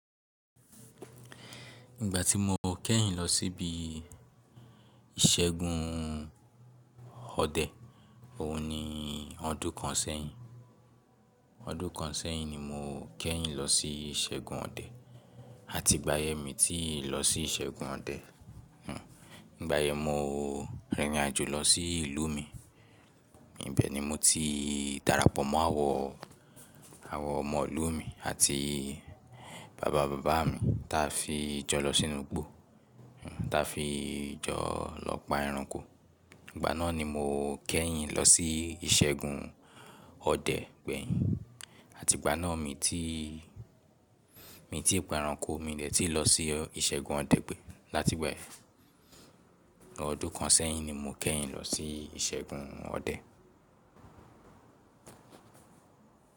Ìgbà tí mo kẹ́yìn lọ síbi ìṣẹ́gun ọdẹ, òun ni ọdún kan sẹ́yìn. Ọdún kan sẹ́yìn ni mo kẹ́yìn lọ sí ìṣẹ́gun ọdẹ àti ìgbà yẹn mi ti lọ sí ìṣẹ́gun ọdẹ. Hmm. Nígbà yẹn mo rìnrìn àjò lọ sí ìlú mi, ibẹ̀ ni mo ti darapọ̀ mọ́ àwọn, àwọn ọmọ ìlú mi àti bàbá bàbá mi ta fi jọ lọ sínú igbó, ta fi jọ lọ pa ẹranko. Ìgbà náà ni mo kẹ́yìn lọ sí ìṣẹ́gun ọdẹ gbẹ̀yìn àti ìgbà náà mi ti, mi ti pa ẹranko, mi dẹ́ẹ̀ti lọ sí ìṣẹ́gun ọdẹ gbẹ̀yìn láti bẹ́ẹ̀. Ọdún kan sẹ́yìn ni mo kẹ́yìn lọ sí ìṣẹ́gun ọdẹ.